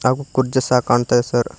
ಹಾಗೂ ಕುರ್ಚಿ ಸಹ ಕಾಣ್ತಾದೆ ಸರ್ .